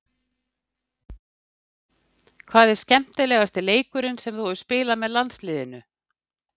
Hvað er skemmtilegasti leikurinn sem þú hefur spilað með landsliðinu?